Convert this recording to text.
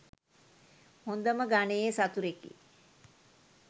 හොඳම ගණයේ සතුරෙකි